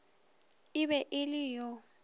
e be e le yo